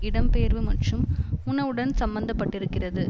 இடம்பெயர்வு மற்றும் உணவுடன் சம்பந்த பட்டிருக்கிறது